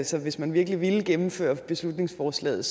så hvis man virkelig ville gennemføre beslutningsforslaget